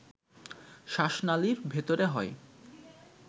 শ্বাসনালীর ভেতরে হয়